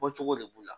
Bɔcogo de b'u la